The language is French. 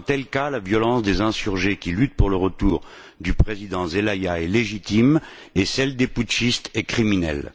Dans un tel cas, la violence des insurgés qui luttent pour le retour du président Zelaya est légitime et celle des putchistes est criminelle.